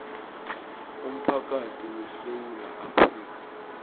umphakathi wesewula afrika